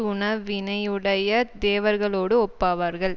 உணவினையுடைய தேவர்களோடு ஒப்பாவார்கள்